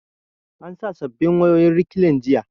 An sa sabbin wayoyin rekliin jiya